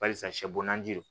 Barisa sɛ bɔnna ji don